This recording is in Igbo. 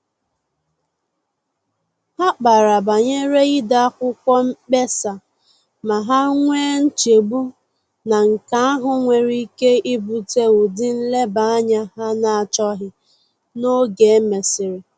Ha kpara banyere ide akwụkwọ mkpesa, ma ha nwee nchegbu na nke ahụ nwere ike ibute ụdị nleba-anya ha na-achọghị n’oge e mesịrị